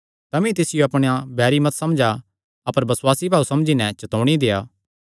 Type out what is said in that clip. तमी तिसियो अपणा बैरी मत समझा अपर बसुआसी भाऊ समझी नैं चतौणी देआ